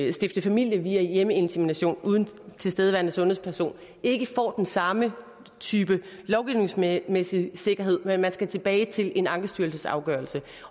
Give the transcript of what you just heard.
at stifte familie via hjemmeinsemination uden tilstedeværende sundhedsperson ikke får den samme type lovgivningsmæssige sikkerhed men skal tilbage til en ankestyrelsesafgørelse